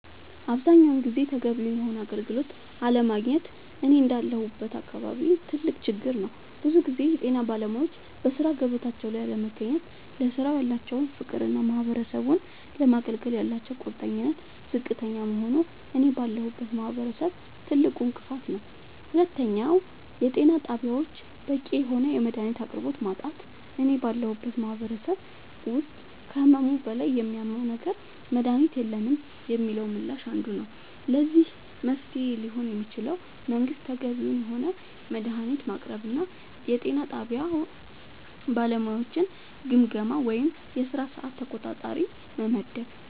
አብዛኛውን ጊዜ ተገቢውን የሆነ አገልግሎት አለማግኘት እኔ እንዳለሁበት አካባቢ ትልቅ ችግር ነዉ ብዙ ጊዜ የጤና ባለሙያወች በሥራ ገበታቸው ላይ አለመገኘት ለስራው ያላቸው ፍቅርና ማህበረሰቡን ለማገልገል ያላቸው ቁርጠኝነት ዝቅተኛ መሆኑ እኔ ባለሁበት ማህበረሰብ ትልቁ እንቅፋት ነዉ ሁለተኛው የጤና ጣቢያወች በቂ የሆነ የመድሃኒት አቅርቦት ማጣት እኔ ባለሁበት ማህበረሰብ ውስጥ ከህመሙ በላይ የሚያመው ነገር መድሃኒት የለንም የሚለው ምላሽ አንዱ ነዉ ለዚህ መፍትሄ ሊሆን የሚችለው መንግስት ተገቢውን የሆነ መድሃኒት ማቅረብና የጤና ጣቢያ ባለሙያወችን ግምገማ ወይም የስራ ሰዓት ተቆጣጣሪ መመደብ